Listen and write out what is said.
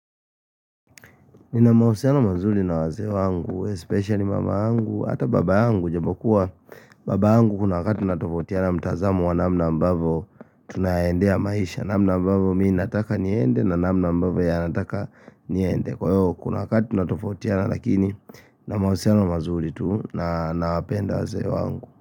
Nina mahusiana mazuri na wazee wangu, especially mama yangu, ata baba yangu ijapokuwa Baba yangu kuna wakati tunatofautiana mtazamo wa namna ambavyo tunaendea maisha namna ambavyo mimi nataka niende na namna ambavyo yeye anataka niende Kwa hiyo kuna wakati tunatofautiana lakini na mahusiano mazuri tu na nawapenda wazee wangu.